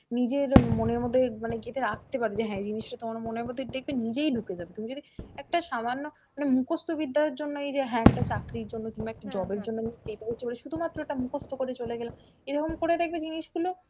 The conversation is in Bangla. নিজের মনের মধ্যে মানে গেথে রাখতে পারবে যে হ্যাঁ এই জিনিসটা তো আমার মনের মধ্যে দেখবে নিজেই ঢুকে যাবে, তুমি যদি একটা সামান্য মানে মুখস্ত বিদ্যার জন্য এই যে হ্যা একটা চাকরির জন্য কিংবা একটা job এর জন্য আমি শুধুমাত্র ওটা মুখস্ত করে চলে গেলাম এরকম করে দেখবে জিনিসগুলো